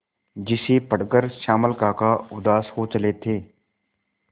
जिसे पढ़कर श्यामल काका उदास हो चले थे